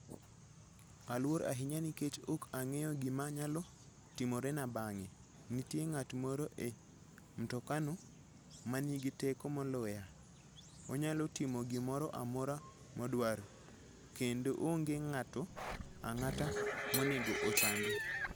Aluor ahinya nikech ok ang'eyo gima nyalo timorena bang'e. Nitie ng'at moro e mtokano ma nigi teko moloya. Onyalo timo gimoro amora modwaro, kendo onge ng'ato ang'ata monego ochande.